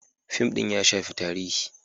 Fim din ya shafi tarihi.